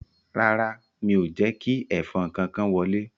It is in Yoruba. Rárá, mi ò jẹ́ kí ẹ̀fọn kankan wọlé